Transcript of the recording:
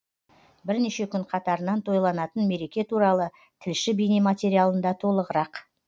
бірнеше күн қатарынан тойланатын мереке туралы тілші бейнематериалында толығырақ